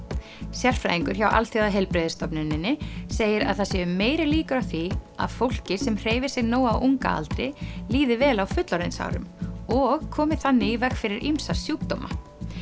sérfræðingur hjá Alþjóðaheilbrigðisstofnuninni segir að það séu meiri líkur á því að fólki sem hreyfir sig nóg á unga aldri líði vel á fullorðinsárum og komi þannig í veg fyrir ýmsa sjúkdóma